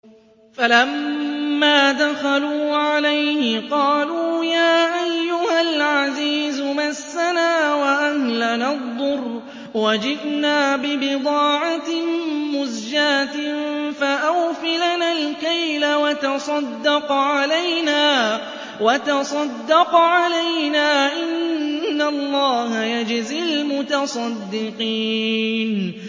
فَلَمَّا دَخَلُوا عَلَيْهِ قَالُوا يَا أَيُّهَا الْعَزِيزُ مَسَّنَا وَأَهْلَنَا الضُّرُّ وَجِئْنَا بِبِضَاعَةٍ مُّزْجَاةٍ فَأَوْفِ لَنَا الْكَيْلَ وَتَصَدَّقْ عَلَيْنَا ۖ إِنَّ اللَّهَ يَجْزِي الْمُتَصَدِّقِينَ